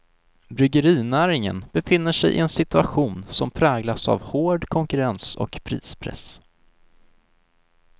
Bryggerinäringen befinner sig i en situation som präglas av hård konkurrens och prispress.